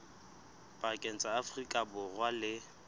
pakeng tsa afrika borwa le